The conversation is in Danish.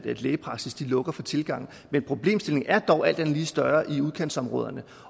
lægepraksisser lukker for tilgang men problemstillingen er dog alt andet lige større i udkantsområderne